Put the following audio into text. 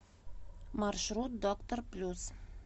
маршрут доктор плюс